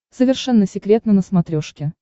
совершенно секретно на смотрешке